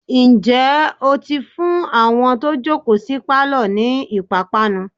ǹjẹ́ ó ti fún àwọn tó jòkó sí pálọ̀ ni ìpápánu?